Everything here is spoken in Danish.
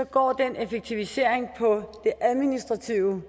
går den effektivisering på det administrative